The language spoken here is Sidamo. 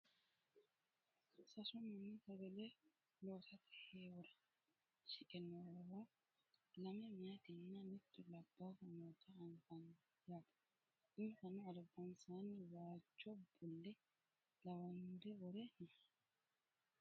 sasu mani sagale loosate heewora shiqe noowa lame mayeetinna mittu labbaahu noota anfani yaate insano albansaanni waajjo bulle lawannore wore no